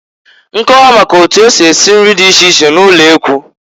Nkọwa maka otu esi esi nri di iche iche n'ụlekwu.